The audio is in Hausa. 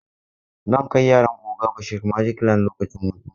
Zan kai yaran oga Bashari magic land lokacin hutu.